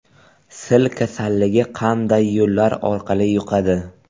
Sil kasalligi qanday yo‘llar orqali yuqadi?